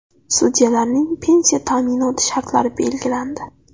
Sudyalarning pensiya ta’minoti shartlari belgilandi.